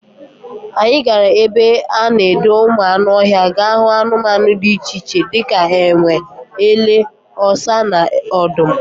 Anyị gara ebe a na-edo ụmụ anụ ọhịa ga hụ anụmanụ dị iche iche dịka enwe, ele, ọsa na odum